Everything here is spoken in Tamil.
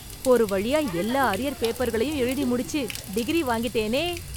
ஒரு வழியா எல்லா அரியர் பேப்பர்களயும் எழுதி முடிச்சு, டிகிரி வாங்கிட்டேனே...